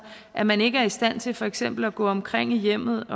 at man ikke er i stand til for eksempel at gå omkring i hjemmet